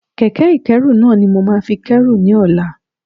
Kẹ̀kẹ́ ìkẹ́rù náà ni mo máa fi kérù ní ọ̀la.